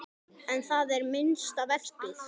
En það er minnsta verkið.